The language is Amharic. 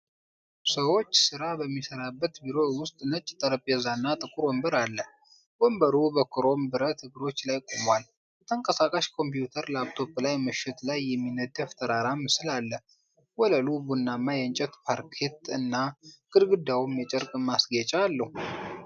ሰዎች ሥራ በሚሠራበት ቢሮ ውስጥ ነጭ ጠረጴዛና ጥቁር ወንበር አለ። ወንበሩ በክሮም ብረት እግሮች ላይ ቆሟል። በተንቀሳቃሽ ኮምፒውተር (ላፕቶፕ) ላይ ምሽት ላይ የሚነደፍ ተራራ ምስል አለ። ወለሉ ቡናማ የእንጨት ፓርኬት እና ግድግዳውም የጨርቅ ማስጌጫ አለው።